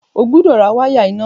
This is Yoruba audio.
O gbúdọ̀ ra wáyà iná!